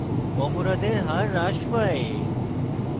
অপরাধের হার হ্রাস পায়